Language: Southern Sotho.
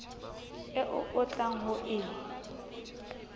eo o tlang ho e